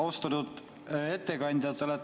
Austatud ettekandja!